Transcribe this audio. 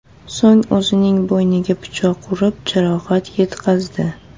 So‘ng o‘zining bo‘yniga pichoq urib, jarohat yetkazdi.